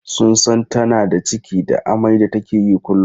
Sun san tana da ciki da amai da take yi kullum.